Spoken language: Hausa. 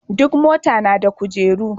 Duk mota na da kujeru.